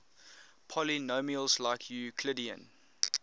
polynomials like euclidean